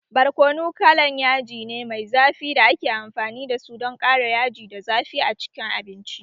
Barkono kalan yaji ne mai zafi da ake amfani da su don ƙara yaji da zafi a cikin abinci